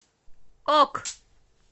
ок